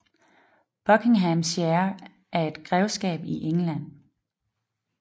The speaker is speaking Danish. Buckinghamshire er et grevskab i England